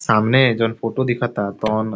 सामने ए जौन फोटो दिखत तौन --